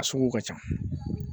A sugu ka ca